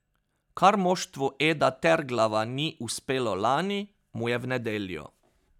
Kar moštvu Eda Terglava ni uspelo lani, mu je v nedeljo.